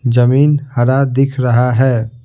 जमीन हरा दिख रहा है।